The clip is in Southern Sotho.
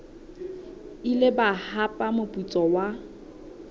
ile ba hapa moputso wa